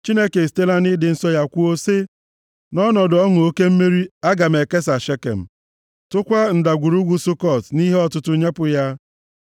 Chineke esitela nʼịdị nsọ ya kwuo, sị, “Nʼọnọdụ ọṅụ nke mmeri, aga m ekesa Shekem, + 60:6 Shekem bụ isi obodo ọchịchị mbụ ndị Izrel. \+xt Jen 12:6\+xt* tụkwaa Ndagwurugwu Sukọt nʼihe ọtụtụ nyepụ ya.